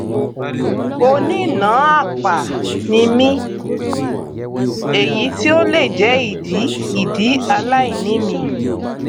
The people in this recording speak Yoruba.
onínàáàpà ni mí èyí tí ó lè jẹ ìdí ìdí aláìní mi